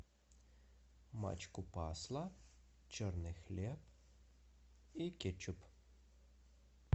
пачку масла черный хлеб и кетчуп